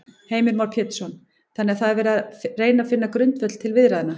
Heimir Már Pétursson: Þannig að það er verið að reyna finna grundvöll til viðræðna?